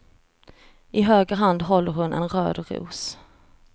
I höger hand håller hon en röd ros.